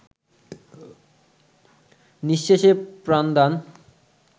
নিঃশেষে প্রাণদান